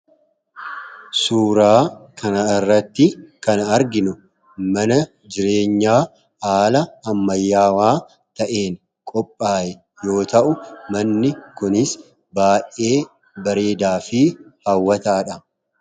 Suuraa kana irratti kan arginu mana jireenyaa haala ammayyaawaa ta'een qophaa'e yoo ta'u manni kunis baay'ee bareedaa fi haawwataadha.